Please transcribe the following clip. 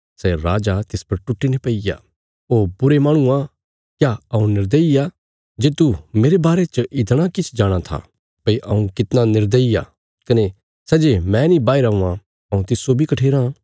सै राजा तिस पर टुट्टीने पैईग्या ओ बुरे माहणुआ क्या हऊँ निर्दयी आ जे तूं मेरे बारे च इतणा किछ जाणाँ था भई हऊँ कितना निर्दयी आ कने सै जे मैं नीं बाहीरा हुआं हऊँ तिस्सो बी कठेराँ